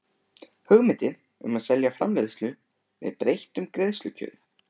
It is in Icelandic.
hugmyndir um að selja framleiðslu með breyttum greiðslukjörum.